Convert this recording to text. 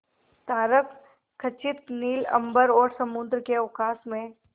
तारकखचित नील अंबर और समुद्र के अवकाश में